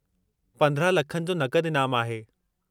15,00,000/- जो नक़द ईनामु आहे।